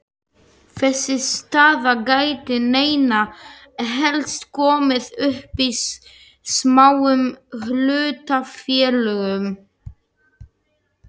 Þessi staða gæti einna helst komið upp í smáum hlutafélögum.